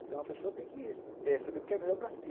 Então a pessoa tem que eh saber o que é melhor para si.